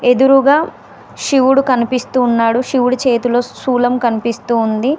ఎదురుగా శివుడు కనిపిస్తూ ఉన్నాడు శివుడు చేతిలో శూలం కనిపిస్తుంది.